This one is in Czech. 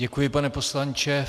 Děkuji, pane poslanče.